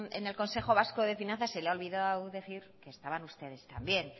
en el consejo vasco de finanzas se la ha olvidado decir que estaban ustedes también